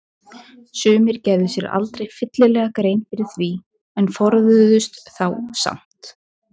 Sumir gerðu sér aldrei fyllilega grein fyrir því en forðuðust þá samt.